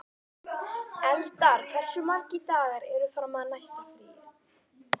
Eldar, hversu margir dagar fram að næsta fríi?